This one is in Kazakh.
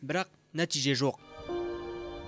бірақ нәтиже жоқ